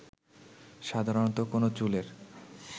সাধারণত কোনো চুলের